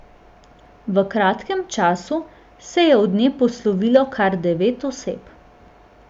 V kratkem času se je od nje poslovilo kar devet oseb.